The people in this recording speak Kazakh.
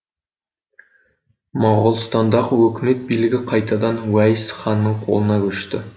моғолстандағы өкімет билігі қайтадан уәйіс ханның қолына көшті